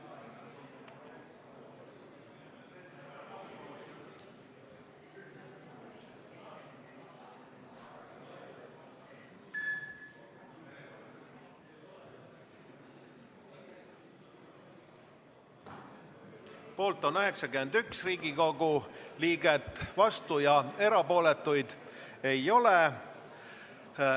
Hääletustulemused Poolt on 91 Riigikogu liiget, vastuolijaid ja erapooletuid ei ole.